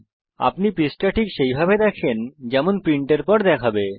আপনি পৃষ্ঠা ঠিক সেইভাবে দেখতে পারেন যেমন সেটি প্রিন্টের পর দেখাবে